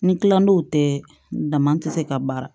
Ni kilandow tɛ dama tɛ se ka baara